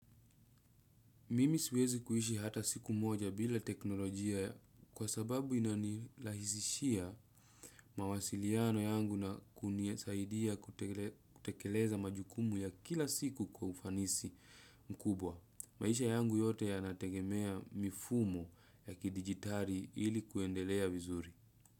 Mimi siwezi kuishi hata siku moja bila teknolojia kwa sababu inanilahisishia mawasiliano yangu na kunisaidia kutekeleza majukumu ya kila siku kwa ufanisi mkubwa. Maisha yangu yote yanategemea mifumo ya kidigitari ili kuendelea vizuri.